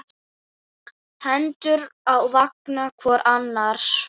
Hendur á vanga hvor annars.